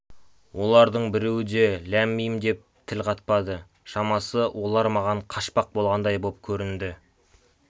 олардың біреуі де ләм-мим деп тіл қатпады шамасы олар маған қашпақ болғандай боп көрінді